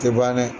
Tɛ ban dɛ